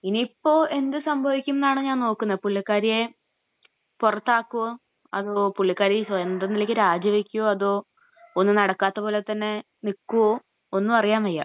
ഇനിയിപ്പോ എന്ത് സംഭവിക്കുമെന്നാണ് ഞാൻ നോക്കുന്നത്, പുള്ളിക്കാരിയെ പുറത്താക്കുമോ അതോ പുള്ളിക്കാരി സ്വന്തം നിലയ്ക്ക് രാജിവയ്ക്കുമോ അതോ ഒന്നും നടക്കാത്ത പോലെത്തന്നെ നിൽക്കുവോ ഒന്നും അറിയാൻ വയ്യ.